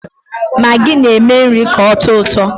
Magi na-eme nri ka ọtọ ụtọ.